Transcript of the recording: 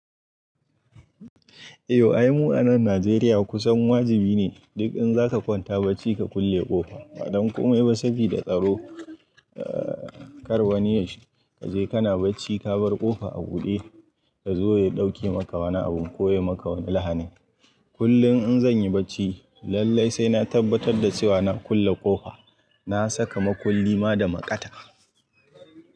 Eh, ayi mu a nan Najeriya kusan wajibi ne duk in zaka kwanta bacci ka kulle ƙofa. Madam kuma yayi wasabi da tsaro, eh, kar wani ya shiga. Kaje kana bacci ka bar ƙofa a buɗe, ka zo ya ɗauke maka wani abun ko ya yi maka wani lahani. Kullum in zanyi bacci lallai sai na tabbatar da cewa na kulle ƙofa. Na saka makulli ma da maƙata.